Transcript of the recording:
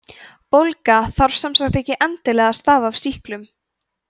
bólga þarf sem sagt ekki endilega að stafa af sýklum